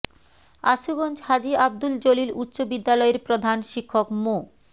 আশুগঞ্জ হাজী আব্দুল জলিল উচ্চ বিদ্যালয়ের প্রধান শিক্ষক মো